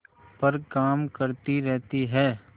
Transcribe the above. पर काम करती रहती है